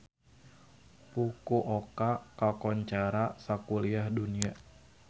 Fukuoka kakoncara sakuliah dunya